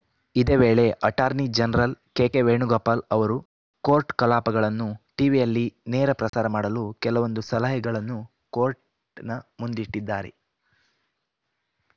ಇದೇ ವೇಳೆ attorney general K K Venugopal ಅವರು ಕೋರ್ಟ್‌ ಕಲಾಪಗಳನ್ನು ಟೀವಿಯಲ್ಲಿ ನೇರ ಪ್ರಸಾರ ಮಾಡಲು ಕೆಲವೊಂದು ಸಲಹೆಗಳನ್ನು ಕೋರ್ಟ್‌ನ ಮುಂದಿಟ್ಟಿದ್ದಾರೆ